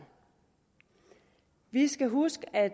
vi skal huske at